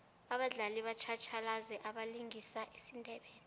abadlali batjhatjhalazi abalingisa isindebele